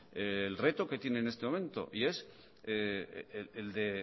el reto que tiene en este momento y es el de